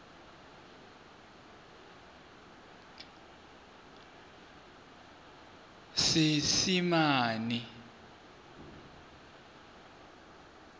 seesimane